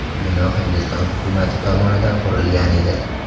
Bino Hindiston hukumati tomonidan qurilgan edi.